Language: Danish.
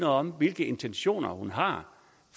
om hvilke intentioner hun har